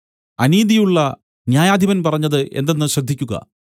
അനീതിയുള്ള ന്യായാധിപൻ പറഞ്ഞത് എന്തെന്ന് ശ്രദ്ധിക്കുക